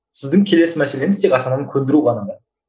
сіздің келесі мәселеңіз тек ата ананы көндіру ғана